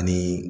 Ani